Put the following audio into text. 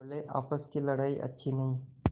बोलेआपस की लड़ाई अच्छी नहीं